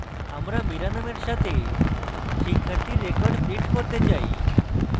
আমরা mira নামের সাথে শিক্ষার্থীর records print করতে say